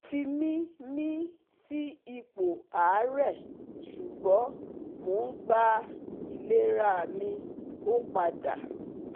O fi mi mi si ipo aare sugbo mo n gba ilerami opada